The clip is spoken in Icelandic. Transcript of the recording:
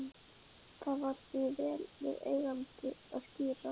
Það var því vel við eigandi að skíra